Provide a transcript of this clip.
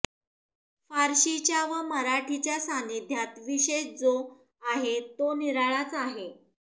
फारशीच्या व मराठीच्या सान्निध्यांत विशेष जो आहे तो निराळाच आहे